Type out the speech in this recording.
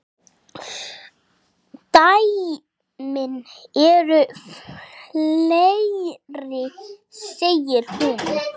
Dæmin eru fleiri, segir hún.